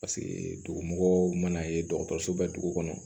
Paseke dugu mɔgɔw mana ye dɔgɔtɔrɔso bɛ dugu kɔnɔ